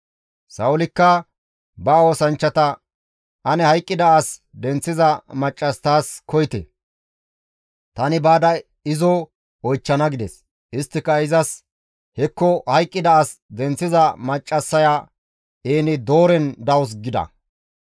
Sa7oolikka ba oosanchchata, «Ane hayqqida as denththiza maccas taas koyite; tani baada izo oychchana» gides. Isttika izas, «Hekko hayqqida as denththiza maccassaya En-Dooren dawus» gida.